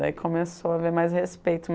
Daí começou a haver mais respeito.